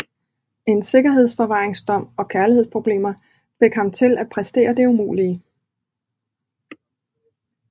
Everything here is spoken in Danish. En sikkerhedsforvaringsdom og kærlighedsproblemer fik ham til at præstere det umulige